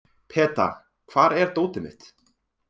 Peta, hvar er dótið mitt?